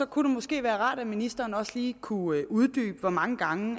kunne det måske være rart at ministeren også lige kunne uddybe hvor mange gange